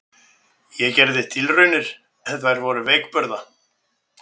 Ég gerði tilraunir en þær voru veikburða.